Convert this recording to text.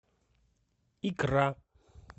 икра